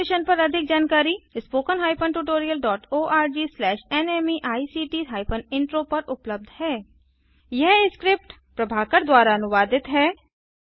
इस मिशन पर अधिक जानकारी spoken tutorialorgnmeict इंट्रो पर उपलब्ध है यह स्क्रिप्ट प्रभाकर द्वारा अनुवादित है